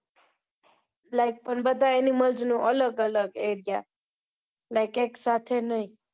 Like બધા animals નો અલગ અલગ aria like એક સાથે નહિ